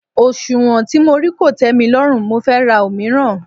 Òsùnwọ̀n tí mo rí kò tẹ́milọ́rùn mo fẹ́ ra òmíràn.